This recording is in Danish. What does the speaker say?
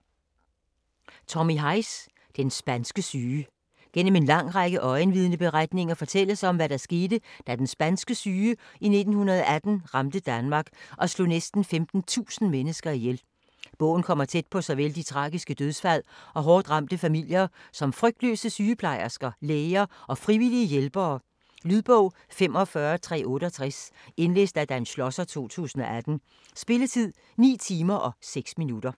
Heisz, Tommy: Den spanske syge Gennem en lang række øjenvidneberetninger fortælles om, hvad der skete, da den spanske syge i 1918 ramte Danmark og slog næsten 15.000 mennesker ihjel. Bogen kommer tæt på såvel de tragiske dødsfald og hårdt ramte familier som frygtløse sygeplejersker, læger og frivillige hjælpere. Lydbog 45368 Indlæst af Dan Schlosser, 2018. Spilletid: 9 timer, 6 minutter.